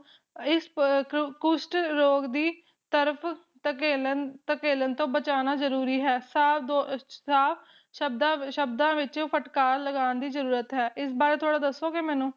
ਇਸ ਪਅ ਕੁਸ਼ਟ ਰੋਗ ਦੀ ਤਰਫ਼ ਥਕੇਲਣ ਥਕੇਲਣ ਤੋਂ ਬਚਾਉਣਾ ਜਰੂਰੀ ਹੈ ਸਾ ਦੋ ਸਾਫ਼ ਸ਼ਬਦਾਂ ਸ਼ਬਦਾਂ ਵਿੱਚੋ ਫਟਕਾਰ ਲਗਾਉਣ ਦੀ ਜਰੂਰਤ ਹੈ ਇਸ ਬਾਰੇ ਥੋੜਾ ਦੱਸੋਗੇ ਮੈਨੂੰ